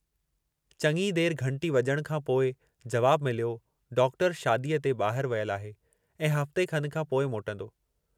चङी देर घंटी वॼण खां पोइ जवाबु मिलियो डॉक्टर शादीअ ते ॿाहरि वियलु आहे ऐं हफ़्ते खन खां पोइ मोटंदो।